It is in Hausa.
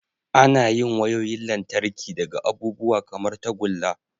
Ana yin wayoyin lantarki daga abubuwa kamar tagulla.